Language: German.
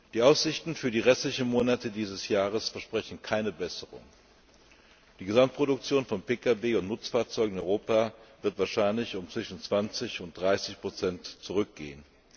Die Aussichten für die restlichen Monate dieses Jahres versprechen keine Besserung Die Gesamtproduktion von Pkw und Nutzfahrzeugen in Europa wird wahrscheinlich zwischen 20 und 30 zurückgehen.